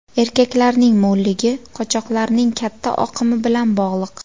Erkaklarning mo‘lligi qochoqlarning katta oqimi bilan bog‘liq.